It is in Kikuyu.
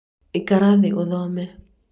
ikara thiĩ ũthome